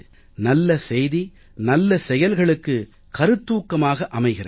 நல்ல செய்தி நல்ல செயல்களுக்கு கருத்தூக்கமாக அமைகிறது